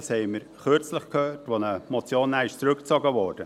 das haben wir kürzlich gehört, als eine Motion dann zurückgezogen wurde.